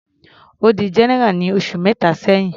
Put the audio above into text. Ó di general ní oṣù mẹta sẹ́hìn.